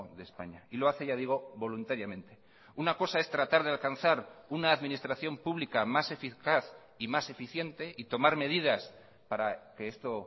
de españa y lo hace ya digo voluntariamente una cosa es tratar de alcanzar una administración pública más eficaz y más eficiente y tomar medidas para que esto